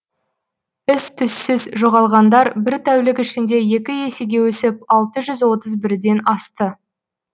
із түзсіз жоғалғандар бір тәулік ішінде екі есеге өсіп алты жүз отыз бірден асты